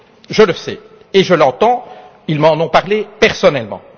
Je le sais et je l'entends, car ils m'en ont parlé personnellement.